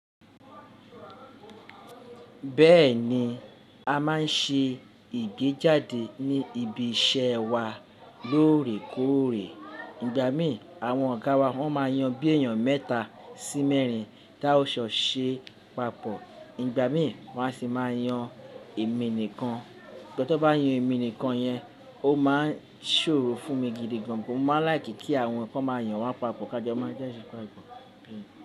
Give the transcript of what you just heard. Bẹ́ẹ̀ni, a máa ń ṣe ìgbéjáde ní ibi iṣẹ́ wa lóòrèkóòrè. Ìgbà mí àwọn ọ̀gá wa wọ́n máa yan bí èèyàn mẹ́ta sí mẹ́rin tá ò jọ ṣe papọ̀. Ìgbà mí wọ́n á sì máa yan èmi nìkan. Sugbon tan bá yan èmi nìkan yẹn, ó máa ń ṣòro fún mi gidi gan. Mo máa ń like ki àwọn kan máa yàn wa papọ̀ ká jo máa jadẹ́ pápọ.